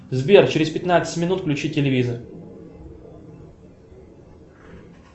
сбер через пятнадцать минут включи телевизор